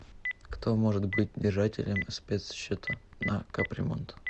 кто может быть держателем спецсчета на капремонт